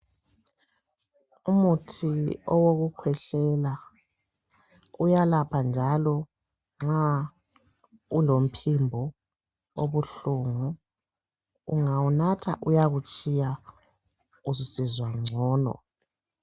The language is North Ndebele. Umuthi owokukhwehlela uyalapha njalo nxa ulomphimbo obuhlungu ungawunatha uyakutshiya ususizwa gcono.